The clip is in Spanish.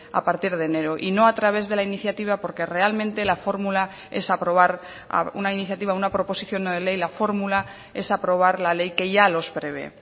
a partir de enero y no a través de la iniciativa porque realmente la fórmula es aprobar una iniciativa una proposición no de ley la fórmula es aprobar la ley que ya los prevé